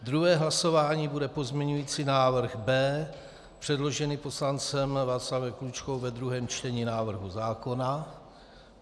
druhé hlasování bude pozměňující návrh B předložený poslancem Václavem Klučkou ve druhém čtení návrhu zákona;